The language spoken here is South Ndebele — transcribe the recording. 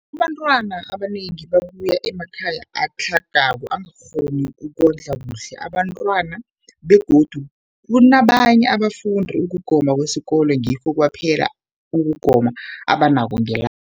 Abantwana abanengi babuya emakhaya atlhagako angakghoni ukondla kuhle abentwana, begodu kabanye abafundi, ukugoma kwesikolweni ngikho kwaphela ukugoma abanakho ngelanga.